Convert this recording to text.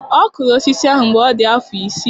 Ọ kụrụ osisi ahụ mgbe ọ dị afọ isii.